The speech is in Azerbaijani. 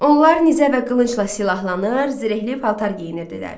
Onlar nizə və qılıncla silahlanır, zirehli paltar geyinirdilər.